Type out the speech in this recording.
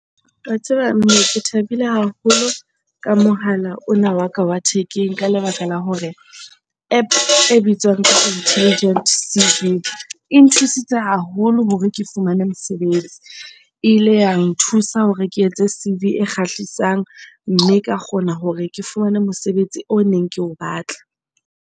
Wa tseba mme ke thabile haholo ka mohala ona wa ka wa thekeng. Ka lebaka la hore App e bitswang intelligent C_V e nthusitse tse haholo hore ke fumane mosebetsi. E ile ya nthusa hore ke etse C_V e kgahlisang mme ka kgona hore ke fumane mosebetsi o neng ke o batla.